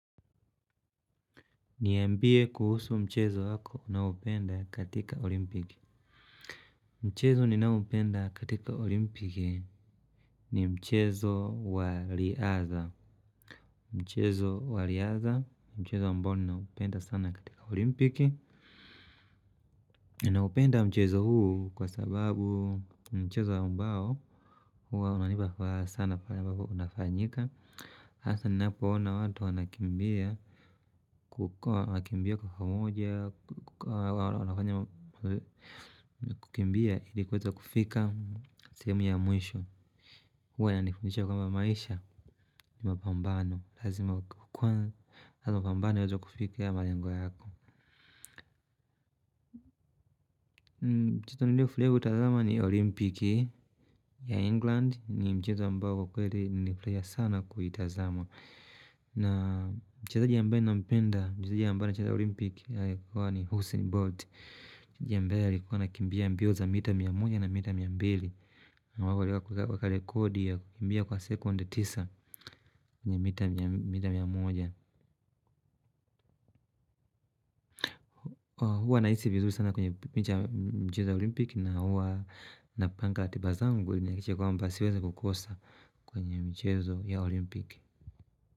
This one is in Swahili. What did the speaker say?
Niambie kuhusu mchezo wako unaopenda katika olimpiki. Mchezo ninaoupenda katika olimpiki ni mchezo wa riadha. Mchezo wa riadha ni mchezo ambao ninaupenda sana katika olimpiki. Ninaupenda mchezo huu kwa sababu ni mchezo ambao huwa unanipa sana fanyapapo unafanyika. Asa ninapo ona watu wanakimbia kukimbia kufamuja. Kukimbia ilikuweza kufika sehemu ya mwisho. Huwa inanifundisha kwamba maisha ni mapambano. Lazima kwamba wazo kufika ya malengwa yako. Mchezo niliofurahi kuutazama ni olimpiki ya England. Ni mchezo ambao kiukweli nifurahia sana kuitazama. Na mchezaji ambaye nampenda mchezaji ambaye anacheza olimpik na huwa ni Husein Bolt na mchezaji ambaye anakimbia mbio za mita mia moja na mita mia mbili na mbae na mbae na mbae na mbae na mbae na mbae na mbae na mbae na mbae na mbae na mbae na mbae na mbae na mbae huwa nahisi vizuri sana kwenye picha ya mchezo ya olimpik na huwa napanga ratiba zangu kuhakikisha kwamba siwezi kukoksa kwenye mchezo ya olimpk.